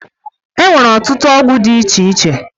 Enwere ọtụtụ ọgwọ di iche iche.